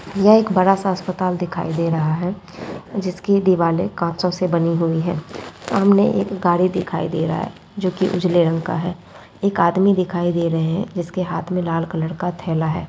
यह एक बड़ा-सा अस्पताल दिखाई दे रहा है जिसकी दिवारे काँचों से बनी हुई है| सामने एक गाड़ी दिखाई दे रहा है जोकि उजले रंग का है| एक आदमी दिखाई दे रहे है जिसके हाथ मे लाल कलर का थेला है|